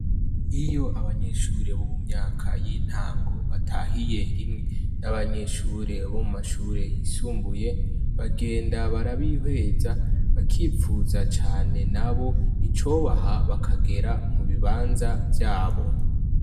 Iyo abanyeshure bo mu myaka y'intango ,batahiye rimwe n'abanyeshure bo mu mashure yisumbuye, bagenda barabihweza bakipfuza cane nabo icobaha bakagera mu bibanza vyabo.